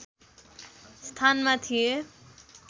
स्थानमा थिए